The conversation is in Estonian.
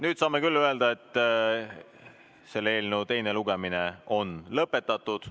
Nüüd saame küll öelda, et selle eelnõu teine lugemine on lõpetatud.